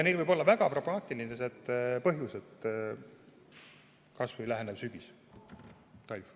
Neil võib olla väga pragmaatiline põhjus, kas või lähenevad sügis ja talv.